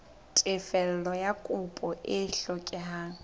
tefello ya kopo e hlokehang